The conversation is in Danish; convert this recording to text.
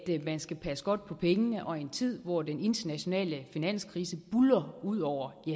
man skal passe godt på pengene og i en tid hvor den internationale finanskrise buldrer ud over